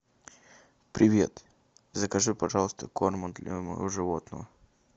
привет закажи пожалуйста корм для моего животного